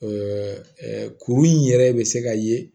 kuru in yɛrɛ bɛ se ka ye